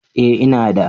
Eh ina da.